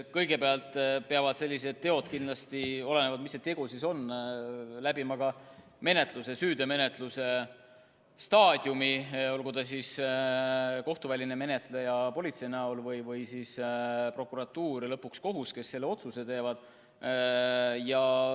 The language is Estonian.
Kõigepealt peavad sellised teod kindlasti, olenevalt sellest, milline see tegu on, läbima menetluse staadiumi, korraldagu seda kohtuväline menetleja politsei näol või siis prokuratuur ja lõpuks kohus, kes otsuse teeb.